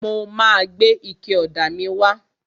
Mo ma gbé ike ọ̀dà míì wá.